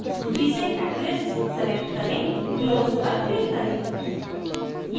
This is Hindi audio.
सूची से catalyst catalyst select करें close पर click करें